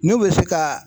N'u bɛ se ka